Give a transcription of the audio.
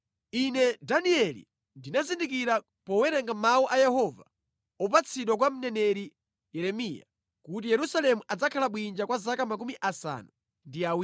ine Danieli ndinazindikira powerenga mawu a Yehova opatsidwa kwa mneneri Yeremiya, kuti Yerusalemu adzakhala bwinja kwa zaka 70.